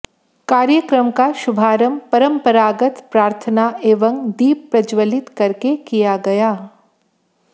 कार्यक्रम का शुभारंभ परंपरागत प्रार्थना एवं दीप प्रज्जवलित करके किया गया